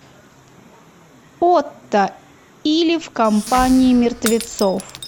отто или в компании мертвецов